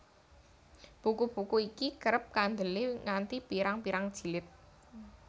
Buku buku iki kerep kandelé nganti pirang pirang jilid